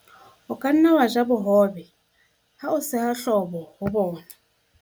o ka nna wa ja bohobe ha o seha hlobo ho bona